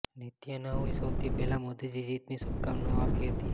નેતન્યાહૂએ સૌથી પહેલા મોદીને જીતની શુભકામનાઓ આપી હતી